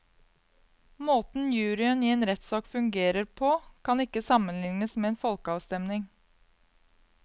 Måten juryen i en rettssak fungerer på kan ikke sammenlignes med en folkeavstemning.